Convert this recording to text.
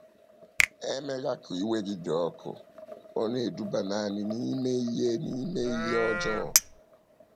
“ Emela ka iwe gị dị ọkụ, ọ na - eduba nanị n’ime ihe n’ime ihe ọjọọ.